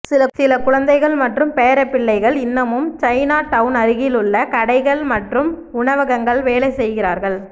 சில குழந்தைகள் மற்றும் பேரப்பிள்ளைகள் இன்னமும் சைனாடவுன் அருகிலுள்ள கடைகள் மற்றும் உணவகங்கள் வேலை செய்கிறார்கள்